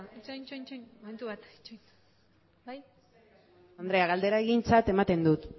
itxaron itxaron momentu bat itxaron bai presidente andrea galdera egintzat ematen dut